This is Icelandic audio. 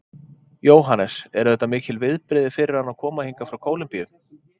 Jóhannes: Eru þetta mikil viðbrigði fyrir hana að koma hingað frá Kólumbíu?